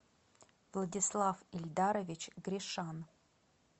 владислав ильдарович гришан